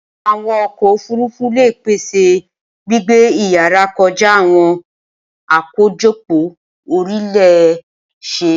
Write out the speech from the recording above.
Awọn ọkọ ofurufu le pese gbigbe iyara kọja awọn akojopo-orile-see